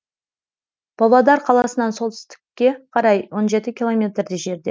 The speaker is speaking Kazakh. павлодар қаласынан солтүстікке қарай он жеті километрдей жерде